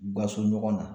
U ka so ɲɔgɔn na